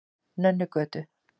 Nönnugötu